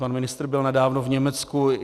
Pan ministr byl nedávno v Německu.